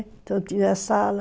Então tinha sala.